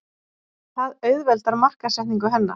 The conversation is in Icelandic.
Það auðveldar markaðssetningu hennar.